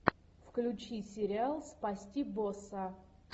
включи сериал спасти босса